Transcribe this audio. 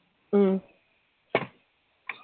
ഉം